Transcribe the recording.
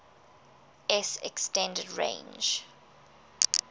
s extended range